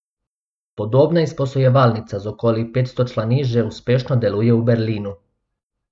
Podobna izposojevalnica z okoli petsto člani že uspešno deluje v Berlinu.